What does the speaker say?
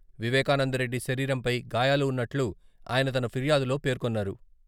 వివేకానందరెడ్డి శరీరంపై గాయాలు ఉన్నట్లు ఆయన తన ఫిర్యాదులో పేర్కొన్నారు.